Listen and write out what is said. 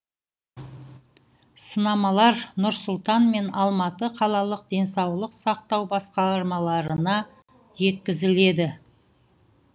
сынамалар нұр сұлтан мен алматы қалалық денсаулық сақтау басқармаларына жеткізіледі